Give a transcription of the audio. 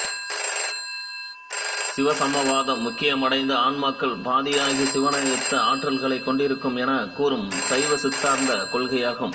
சிவசமவாதம் முக்தியடைந்த ஆன்மாக்கள் பதியாகிய சிவனையொத்த ஆற்றல்களைக் கொண்டிருக்கும் எனக் கூறும் சைவசித்தாந்த கொள்கையாகும்